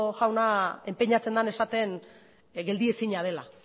jaunak enpeinatzen den esaten geldiezina dela